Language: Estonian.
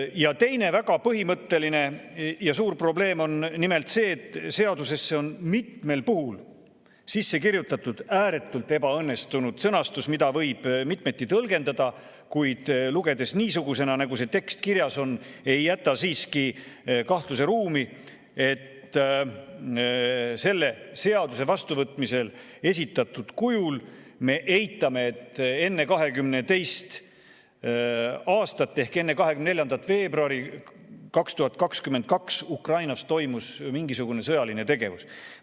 Ja teine, väga põhimõtteline ja suur probleem on nimelt see, et seadusesse on mitmel puhul sisse kirjutatud ääretult ebaõnnestunud sõnastus, mida võib mitmeti tõlgendada, kuid mis lugedes niisugusena, nagu see tekst kirjas on, ei jäta siiski kahtluseruumi, et selle seaduse esitatud kujul vastuvõtmisel me eitame, et enne 2022. aastat ehk enne 24. veebruari 2022 toimus Ukrainas mingisugune sõjaline tegevus.